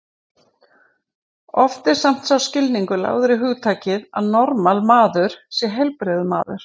Oft er samt sá skilningur lagður í hugtakið að normal maður sé heilbrigður maður.